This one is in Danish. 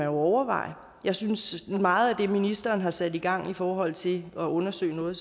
overveje jeg synes nu meget af det ministeren har sat i gang i forhold til at undersøge noget